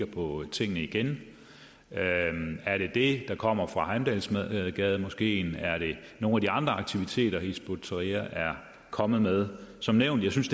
på tingene igen er det det der kommer fra heimdalsgademoskeen er det nogle af de andre aktiviteter hizb ut tahrir er kommet med som nævnt synes